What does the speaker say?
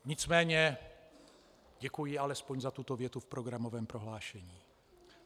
Nicméně děkuji alespoň za tuto větu v programovém prohlášení.